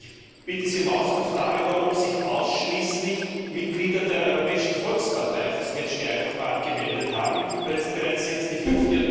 Ich bitte Sie um Auskunft darüber, ob sich ausschließlich Mitglieder der Europäischen Volkspartei für das Catch the eye Verfahren gemeldet haben, weil es bereits die fünfte